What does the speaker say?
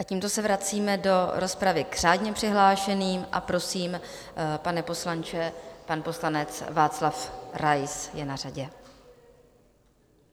A tímto se vracíme do rozpravy k řádně přihlášeným a prosím, pane poslanče, pan poslanec Karel Rais je na řadě.